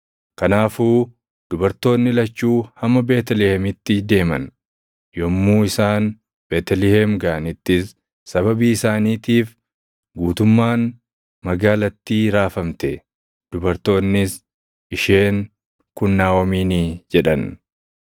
Kanaafuu dubartoonni lachuu hamma Beetlihemitti deeman. Yommuu isaan Beetlihem gaʼanittis sababii isaaniitiif guutummaan magaalattii raafamte; dubartoonnis, “Isheen kun Naaʼomiinii?” jedhan.